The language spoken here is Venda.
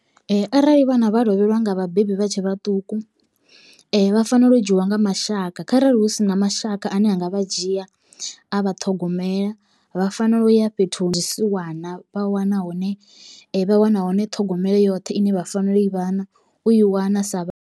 Arali vhana vha lovhelwa nga vhabebi vha tshe vhaṱuku vha fanela u dzhiwa nga mashaka kharali hu si na mashaka ane anga vha dzhia a vha ṱhogomela vha fanela u ya fhethu ha zwisiwana vha wana hone vha wana hone ṱhogomelo yoṱhe ine vha fanela u i vhana u i wana sa.